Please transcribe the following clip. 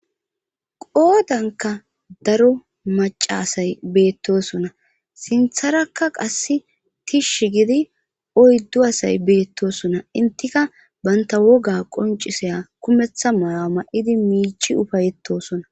Qoodanka daro maca asay beettosona sintharakka qass tishsh gidi oyddu asay beettosona intika banta woga qoncisaya kumeththa maya ma7idi miichi ufayetosona